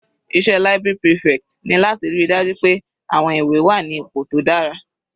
Iṣẹ́ library prefect ni láti ríi dájú pé àwọn ìwé wà ní ipò tó dára.